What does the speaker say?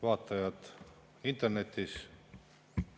Vaatajad internetis!